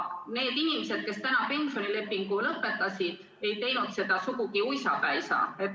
Need inimesed, kes nüüd oma pensionilepingu lõpetasid, ei teinud seda sugugi uisapäisa.